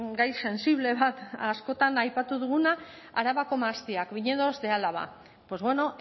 gai sentsible bat askotan aipatu duguna arabako mahastiak viñedos de álava pues bueno